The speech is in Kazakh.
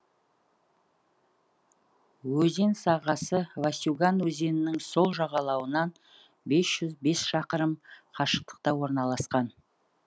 өзен сағасы васюган өзенінің сол жағалауынанбес жүз бес шақырым қашықтықта орналасқан